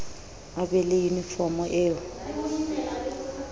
a be le yunifomo eo